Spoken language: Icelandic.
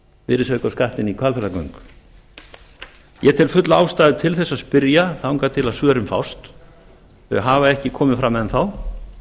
virðisaukaskattinn í hvalfjarðargöngum ég tel fulla ástæðu til að spyrja þangað til svörin fást þau hafa ekki komið fram enn þá